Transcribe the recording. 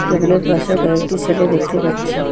table -এর পাশে কয়েকটি সেলে দেখতে পাচ্ছি